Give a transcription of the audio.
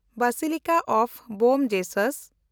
Basilica of Bom Jesus